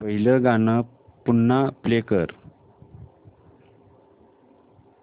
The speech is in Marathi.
पहिलं गाणं पुन्हा प्ले कर